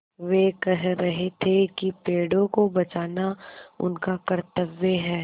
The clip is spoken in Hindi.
वे कह रहे थे कि पेड़ों को बचाना उनका कर्त्तव्य है